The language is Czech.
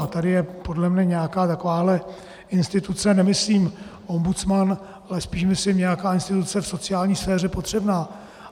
A tady je podle mě nějaká takováhle instituce, nemyslím ombudsman, ale spíš myslím nějaká instituce v sociální sféře potřebná.